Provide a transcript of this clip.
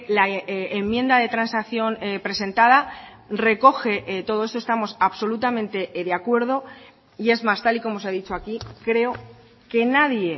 la enmienda de transacción presentada recoge todo eso estamos absolutamente de acuerdo y es más tal y como se ha dicho aquí creo que nadie